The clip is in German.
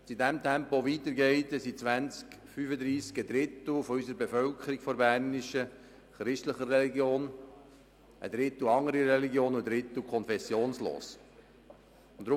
Wenn es in diesem Tempo weitergeht, ist im Jahr 2035 ein Drittel unserer bernischen Bevölkerung christlicher Religion, ein Drittel wird einer anderen Religion angehören und ein Drittel wird konfessionslos sein.